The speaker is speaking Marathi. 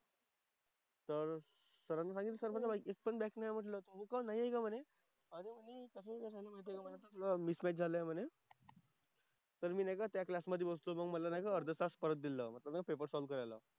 तर सरांना सांगितलं. सरांना काय माहिती. एक पण नाही आहे म्हंटलं. नाही आहे का म्हणे. हां मिसमॅच झालंय म्हणे. तर मी नाही का त्या क्लासमधे बसलो होतो. मला नाही का अर्धा तास परत दिलेला पेपर सॉल्व्ह करायला.